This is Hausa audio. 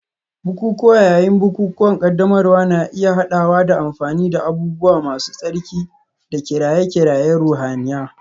Bukukuwa yayin bukukuwan ƙaddamarwa na iya haɗawa da amfani da abubuwa masu tsarki da kiraye-kirayen ruhaniya.